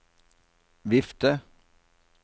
vifte